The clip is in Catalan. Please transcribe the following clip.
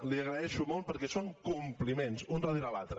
li ho agraeixo molt perquè són compliments un darrere l’altre